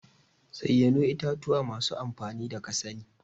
zayyano itatuwa masu amfani da kasani.